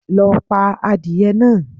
Lo pa adìye náa